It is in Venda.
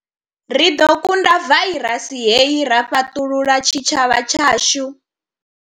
Ri ḓo kunda vairasi hei ra fhaṱulula tshitshavha tshashu.